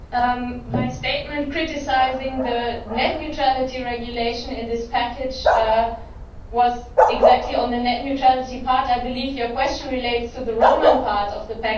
My statement criticising the net neutrality regulation in this package was precisely on the net neutrality part I believe your question relates to the roaming part of the package.